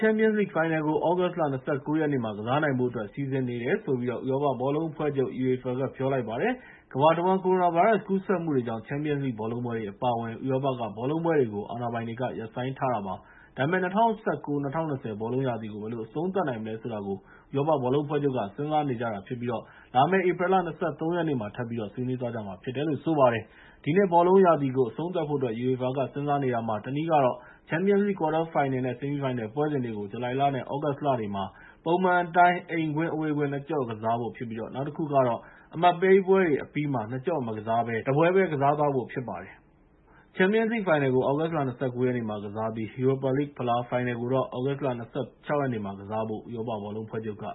ျန်ပီယံလိဂ်ဖိုင်နယ်ကို သြဂုတ်လ ၂၉ ရက်နေ့မှာ ကစားနိုင်ဖို့အတွက် စီစဉ်နေတယ်လို့ ဥရောပဘောလုံးအဖွဲ့ချုပ် (UEFA) က ပြောလိုက်ပါတယ်။ ကမ္ဘာတဝှမ်း ကိုရိုနာဗိုင်းရပ်စ်ကူးစက်မှုတွေကြောင့် ချန်ပီယံလိဂ်ဘောလုံးပွဲတွေ အပါအဝင် ဥရောပက ဘောလုံးပွဲတွေကို အာဏာပိုင်တွေ ရပ်ဆိုင်းထားတာပါ။ ဒါပေမဲ့ ၂၀၁၉-၂၀ ဘောလုံးရာသီကို ဘယ်လို အဆုံးသတ်နိုင်မလဲဆိုတာ ဥရောပဘောလုံးအဖွဲ့ချုပ်က စဉ်းစားနေကြတာဖြစ်ပြီး လာမယ့် ဧပြီလ ၂၃ ရက်နေ့မှာ ထပ်ပြီးဆွေးနွေးသွားမှာဖြစ်တယ်လို့ဆိုပါတယ်။ ဒီနှစ်ဘောလုံးရာသီကို အဆုံးသတ်ဖို့အတွက် UEFA က စဉ်းစားနေတာမှာ တနည်းကတော့ ချန်ပီယံလိဂ် ကွားတာဖိုင်နယ် နဲ့ ဆီမီးဖိုင်နယ်ပွဲစဉ်တွေကို ဇူလိုင်နဲ့သြဂုတ်လထဲတွေမှာ ပုံမှန်အတိုင်း အိမ်ကွင်း အဝေးကွင်း ၂ ကျော့ကစားဖို့ဖြစ်ပြီး နောက်တခုကတော့ အမှတ်ပေးပွဲတွေအပြီးကျမှ နှစ်ကျော့မကစားဘဲ တပွဲပဲ ကစားသွားဖို့ဖြစ်ပါတယ်။ ချန်ပီယံလိဂ်ဖိုင်နယ်ကို သြဂုတ် ၂၉ ရက်နေ့မှာ ကစားပြီး ယူရိုပါလိဂ်ဖလားဖိုင်နယ်ကို သြဂုတ် ၂၆ ရက်နေ့မှာ ကစားဖို့ ဥရောပဘောလုံးအဖွဲ့ချုပ်က